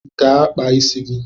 Gaa kpaa isi gị!